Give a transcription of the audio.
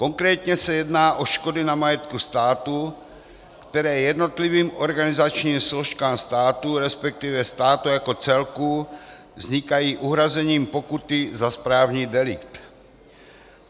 Konkrétně se jedná o škody na majetku státu, které jednotlivým organizačním složkám státu, respektive státu jako celku, vznikají uhrazením pokuty za správní delikt.